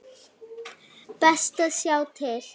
Best að sjá til.